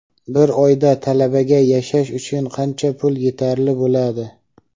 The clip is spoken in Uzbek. Bir oyda talabaga yashash uchun qancha pul yetarli bo‘ladi?.